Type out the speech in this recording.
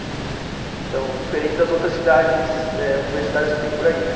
Então, diferente das outras cidades eh, universitárias que tem por aí, né?